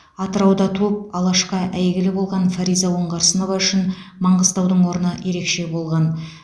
атырауда туып алашқа әйгілі болған фариза оңғарсынова үшін маңғыстаудың орны ерекше болған